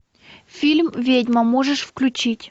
фильм ведьма можешь включить